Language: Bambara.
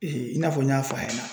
i n'a fɔ n y'a f'a ɲɛna